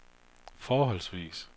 forholdsvis